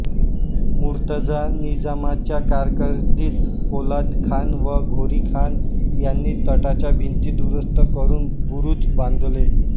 मुर्तजा निजामाच्या कारकीर्दीत पोलाद खान व घोरी खान यांनी तटाच्या भिंती दुरूस्त करून बुरूज बांधले